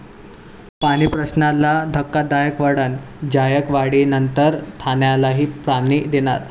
पाणीप्रश्नाला धक्कादायक वळण, जायकवाडीनंतर ठाण्यालाही पाणी देणार